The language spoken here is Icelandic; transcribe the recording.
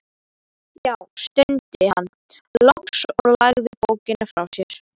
Já, stundi hann loks og lagði bókina frá sér.